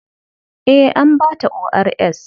Eh, an ba ta ORS.